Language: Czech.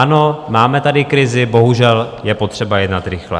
Ano, máme tady krizi, bohužel je potřeba jednat rychle.